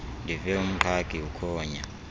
ndive umqhagi ukhonya